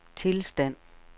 tilstand